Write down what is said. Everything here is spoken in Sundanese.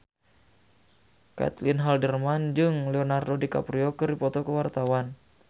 Caitlin Halderman jeung Leonardo DiCaprio keur dipoto ku wartawan